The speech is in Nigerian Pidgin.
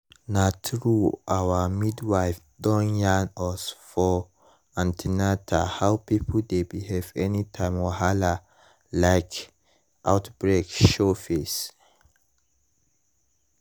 na true our midwife don yarn us for an ten atal how people dey behave anytime wahala like outbreak show face.